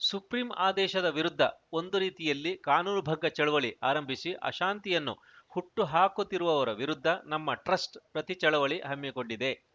supreme ಆದೇಶದ ವಿರುದ್ಧ ಒಂದು ರೀತಿಯಲ್ಲಿ ಕಾನೂನುಭಂಗ ಚಳವಳಿ ಆರಂಭಿಸಿ ಅಶಾಂತಿಯನ್ನು ಹುಟ್ಟುಹಾಕುತ್ತಿರುವವರ ವಿರುದ್ಧ ನಮ್ಮ ಟ್ರಸ್ಟ್‌ ಪ್ರತಿಚಳವಳಿ ಹಮ್ಮಿಕೊಂಡಿದೆ